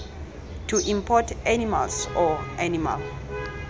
to import animals or animal